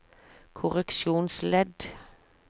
korreksjonsledd